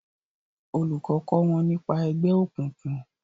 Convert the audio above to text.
olùkó kọ wón nípa ègbé òkùnkùn